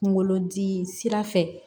Kunkolodi sira fɛ